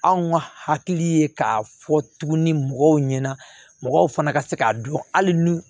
Anw ka hakili ye k'a fɔ tuguni mɔgɔw ɲɛna mɔgɔw fana ka se k'a dɔn hali ni